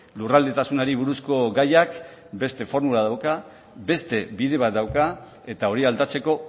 lurraldetasunari buruzko gaiak beste formula dauka beste bide bat dauka eta hori aldatzeko